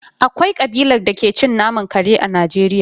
Akwai kabilar da ke cin naman kare a Najeriya.